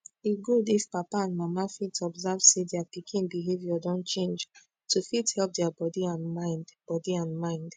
e good if papa and mama fit observe sey dia pikin behavior don change to fit help dia body and mind body and mind